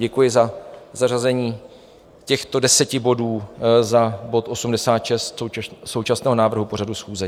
Děkuji za zařazení těchto deseti bodů za bod 86 současného návrhu pořadu schůze.